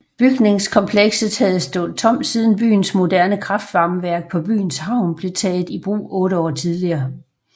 Bygningskomplekset havde stået tomt siden byens moderne kraftvarmeværk på byens havn blev taget i brug otte år tidligere